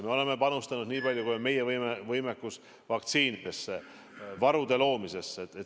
Me oleme panustanud, niipalju kui meie võimekus lubab, vaktsiinidesse, varude loomisesse.